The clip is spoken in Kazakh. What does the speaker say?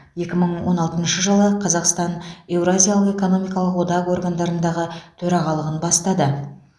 екі мың он алтыншы жылы қазақстан еуразиялық экономикалық одақ органдарындағы төрағалығын бастады